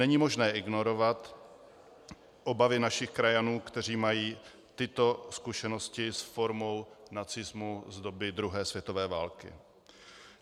Není možné ignorovat obavy našich krajanů, kteří mají tyto zkušenosti s formou nacismu z doby druhé světové války.